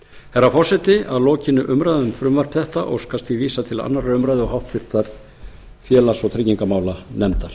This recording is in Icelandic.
herra forseti að lokinni umræðu um frumvarp þetta óskast því vísað til annarrar umræðu og háttvirtur félags og tryggingamálanefndar